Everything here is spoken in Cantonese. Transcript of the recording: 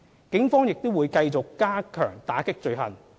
警方亦會繼續加強打擊罪行。